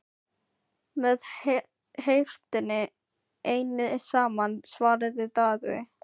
Með heiftinni einni saman, svaraði Daði.